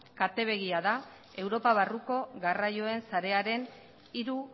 kate begia da europa barruko garraioen sarearen hiru